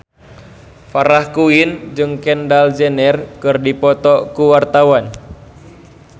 Farah Quinn jeung Kendall Jenner keur dipoto ku wartawan